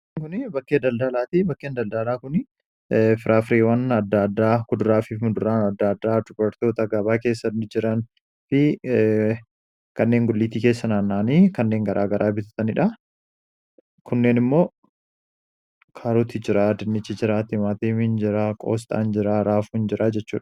kbakkeedaldaalaat bakkeen daldaalaa kun firaafiriwan adda addaa kuduraa fifmuduraan adda addaa dubartoota gabaa keessani jiran fi kanneen gulliittii keessanaannaanii kanneen garaa garaa bitataniidha kunneen immoo kaaruutti jiraa dinnichi jiraa timaatii minjiraa qoosxaan jira raafuu hin jiraa jechuua